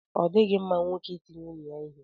Ọ dịghị mma nwoke iti nwunye ya ihe.